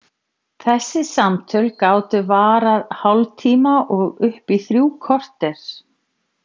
Þessi samtöl gátu varað hálftíma og upp í þrjú korter.